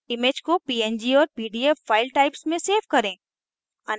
3 image को png और pdf file types में सेव करें